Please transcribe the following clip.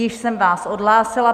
Již jsem vás odhlásila.